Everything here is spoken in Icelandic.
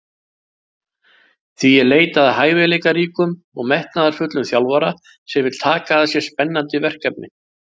Því er leitað að hæfileikaríkum og metnaðarfullum þjálfara sem vill taka að sér spennandi verkefni.